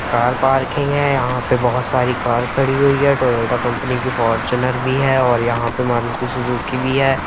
Car parking है यहां पे बहुत सारी कार खड़ी हुई है टोयोटा कंपनी की फॉर्च्यूनर भी है और यहां पर मारुति सुजुकी भी हैं।